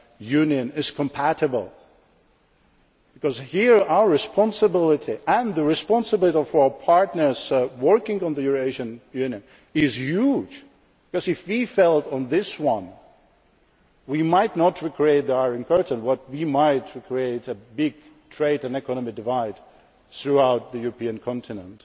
Eurasian Union is compatible, because here our responsibility and the responsibility of our partners working on the Eurasian Union is huge because if we fail on this one we might not recreate an Iron Curtain, but we might create a big trade and economic divide throughout the European continent.